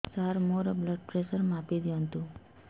ସାର ମୋର blood pressure ମାପି ଦିଅନ୍ତୁ